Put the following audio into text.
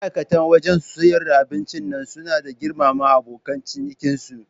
Ma'aikata wajan siyar da abincin nan suna da girmama abokan ciniki su